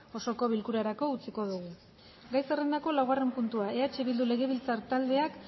osoko bilkurarako utziko dugu gai zerrendaren laugarren puntua eh bildu legebiltzar taldeak